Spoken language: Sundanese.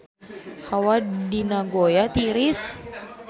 Hawa di Nagoya tiris